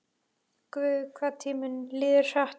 Guð, hvað tíminn líður hratt.